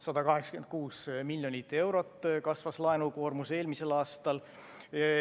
186 miljonit eurot kasvas laenukoormus eelmisel aastal.